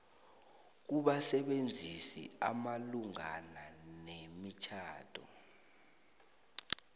kubasebenzisi malungana nemitjhado